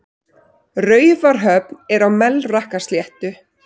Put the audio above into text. Raufarhöfn er á Melrakkasléttu.